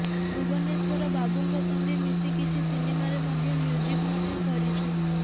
ଭୁବନେଶ୍ୱର ବାବୁଙ୍କ ସଙ୍ଗେ ମିଶି କିଛି ସିନେମାରେ ମଧ୍ୟ ମ୍ୟୁଜିକ ମଧ୍ୟ କରିଛୁ